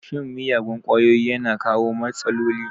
Shan miyagun kwayoyi yana kawo matsaloli